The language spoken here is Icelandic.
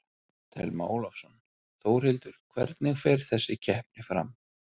Telma Ólafsson: Þórhildur, hvernig fer þessi keppni fram?